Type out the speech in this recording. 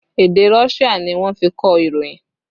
Èdè Russia ni wọ́n fi kọ ìròyìn